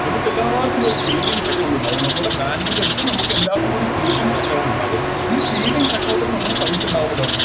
നമുക്കെല്ലാവർക്കുമൊരു Saving account ഉണ്ടാകും നമ്മടെ Bank ൻറെടൂത്ത് നമ്മക്കെല്ലാവർക്കും ഒര് Savings account ഇണ്ടാകും ഈ Savings account ൽ നമ്മള് പൈസ ഇണ്ടാവുമല്ലോ